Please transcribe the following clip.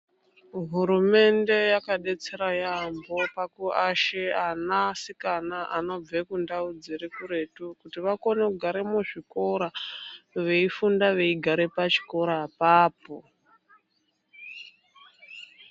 Hurumende yakadetsera yaampho pakuashe anasikana anobve kundau dziri kuretu kuti vakone kugare muzvikora veifunda veigare pachikora apapo.